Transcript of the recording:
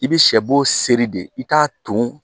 I bi sɛ bo seri de i k'a ton